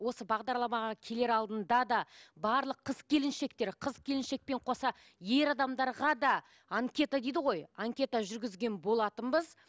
осы бағдарламаға келер алдында да барлық қыз келіншектер қыз келіншекпен қоса ер адамдарға да анкета дейді ғой анкета жүргізген болатынбыз